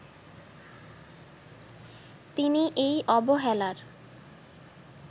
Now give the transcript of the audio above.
তিনি এই অবহেলার